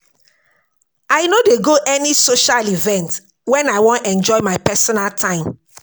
I no dey go any social event wen I wan enjoy my personal time.